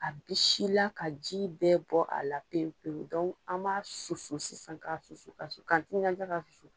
A bi sila ka ji bɛɛ bɔ a la pewu pewu an b'a susu sisan ka susu ka kasu ka i ɲɛ t'an la ka susu